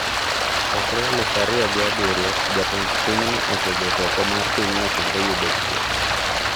Chakre aluf ariyo apar gi abirio, jatend pinyno osebedo oko mar pinyno, kendo yudo thieth.